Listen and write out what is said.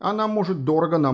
она может дорого нам